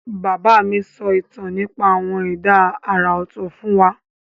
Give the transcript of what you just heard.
Bàbá mi ń sọ ìtàn nípa àwọn ẹ̀dá àrà ọ̀tọ̀ fún wa.